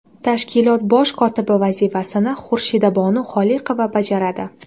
Tashkilot bosh kotibi vazifasini Xurshidabonu Xoliqova bajaradi.